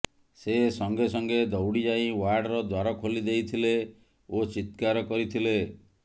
ସେ ସଙ୍ଗେ ସଙ୍ଗେ ଦୌଡ଼ି ଯାଇ ୱାର୍ଡର ଦ୍ୱାର ଖୋଲି ଦେଇଥିଲେ ଓ ଚିତ୍କାର କରିଥିଲେ